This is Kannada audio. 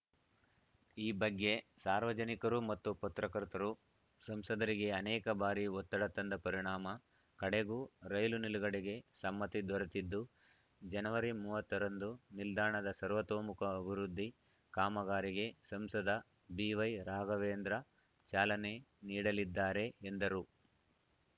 ಈ ಬಗ್ಗೆ ಸಾರ್ವಜನಿಕರು ಮತ್ತು ಪತ್ರಕರ್ತರು ಸಂಸದರಿಗೆ ಅನೇಕ ಬಾರಿ ಒತ್ತಡ ತಂದ ಪರಿಣಾಮ ಕಡೆಗೂ ರೈಲು ನಿಲುಗಡೆಗೆ ಸಮ್ಮತಿ ದೊರೆತ್ತಿದ್ದು ಜನವರಿ ಮೂವತ್ತ ರಂದು ನಿಲ್ದಾಣದ ಸರ್ವತೋಮುಖ ಅಭಿವೃದ್ದಿ ಕಾಮಗಾರಿಗೆ ಸಂಸದ ಬಿ ವೈರಾಘವೇಂದ್ರ ಚಾಲನೆ ನೀಡಲಿದ್ದಾರೆ ಎಂದರು